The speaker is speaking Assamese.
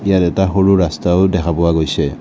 ইয়াত এটা সৰু ৰস্তাও দেখা পোৱা গৈছে।